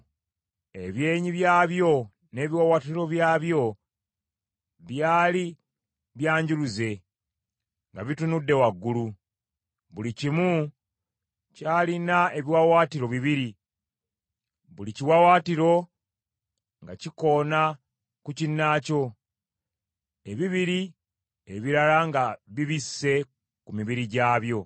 Ebyenyi byabyo n’ebiwaawaatiro byabyo byali byanjuluze nga bitunudde waggulu. Buli kimu kyalina ebiwaawaatiro bibiri, buli kiwaawaatiro nga kikona ku kinnaakyo, ebibiri ebirala nga bibisse ku mibiri gyabyo.